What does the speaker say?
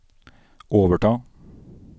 overta